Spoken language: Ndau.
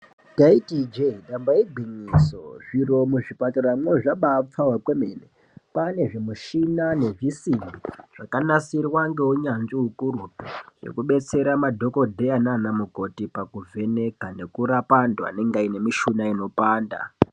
Taiti ijee nyamba igwinyiso zviro muchipatara muno zvabapfawa kwemene kwane zvimishina nezvisimbi zvakanasirwa ngeunyanzvi ukurutu zvekubetsera madhokodheya nanamukoti pakuvheneka nekurapa antu anenge aine mishuna inopanda.